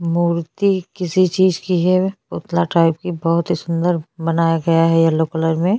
yellow colour का porch है छोटा-छोटा एक यल्लो कलर का मूर्ति रखा हुआ है साइड में ब्लू कलर का --